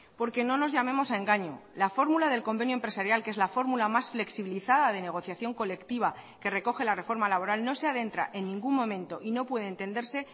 porque no nos llamemos a engaño la fórmula del convenio empresarial que es la fórmula más flexibilizada de negociación colectiva que recoge la reforma laboral no se adentra en ningún momento y no puede entenderse